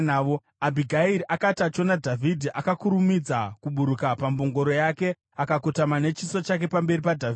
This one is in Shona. Abhigairi akati achiona Dhavhidhi, akakurumidza kuburuka pambongoro yake akakotama nechiso chake pamberi paDhavhidhi.